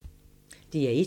DR1